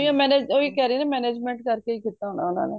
ਓਹੀ ਕਹਿ ਰਿਯਾ ਕਿ management ਕਰਕੇ ਹੀ ਕੀਤਾ ਹੋਣਾ ਓਹਨਾ ਨੇ